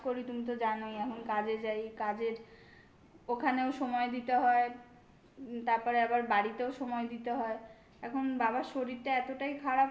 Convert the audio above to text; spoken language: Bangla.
আমি এখন কাজ করি তুমি তো জানোই এখন কাজে যাই. কাজের ওখানেও সময় দিতে হয় উম তারপরে আবার বাড়িতেও সময় দিতে হয় এখন বাবার শরীরটা এতটাই